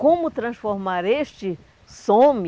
Como transformar este some